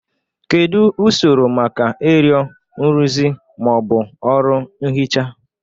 Kedu usoro maka ịrịọ nrụzi ma ọ bụ ọrụ nhicha?